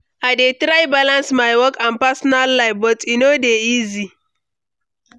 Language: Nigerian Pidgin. I dey try balance my work and personal life, but e no dey easy.